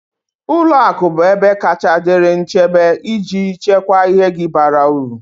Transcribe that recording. Ụlọ akụ bụ ebe kacha dịrị nchebe iji chekwaa ihe gi bara uru